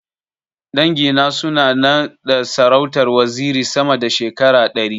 Dangi na suna na da sarautar waziri sama da shekara ɗari.